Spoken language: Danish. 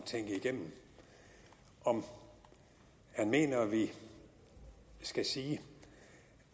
tænke igennem om han mener at vi skal sige